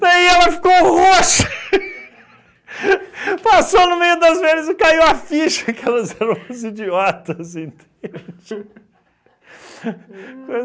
Daí ela ficou roxa passou no meio das velhas e caiu a ficha que elas eram umas idiotas, entende?